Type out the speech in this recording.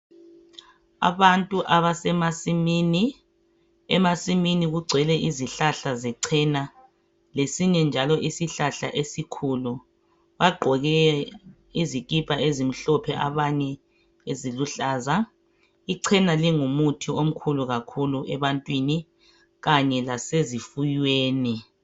Abantu abasemasimini, emasimini kugcwele izihlahla zechena lesinye njalo isihlahla esikhulu. Bagqoke izikipa ezimhlophe abanye eziluhlaza. Ichena lingumuthi omkhulu kakhulu ebantwini kanye lasezifuweni.